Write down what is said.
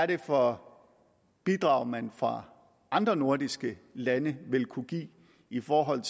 det er for bidrag man fra andre nordiske lande vil kunne give i forhold